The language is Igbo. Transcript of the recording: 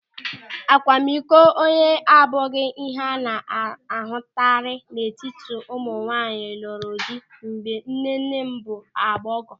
Akwamikọ onye abụghị ịhe a na-ahụtakarị n'etiti ụmụnwaanyị lụrụ di mgbe nnenne m bụ agbọghọ.